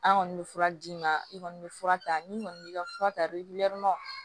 An kɔni bɛ fura d'i ma i kɔni bɛ fura ta n'i kɔni b'i ka fura ta i birintu